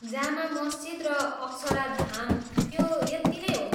जामा मस्जिद र अक्षराधाम, त्यो यत्ति नै हो।